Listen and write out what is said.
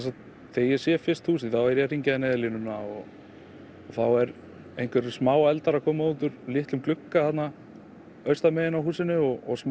þegar ég sé fyrst húsið er ég að hringja í Neyðarlínuna og þá eru einhverjir smáeldar að koma úr litlum glugga þarna austanmegin í húsinu og smá